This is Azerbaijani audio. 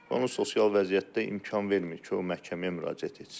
Və onun sosial vəziyyəti imkan vermir ki, o məhkəməyə müraciət etsin.